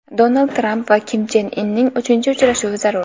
Donald Tramp va Kim Chen Inning uchinchi uchrashuvi zarur.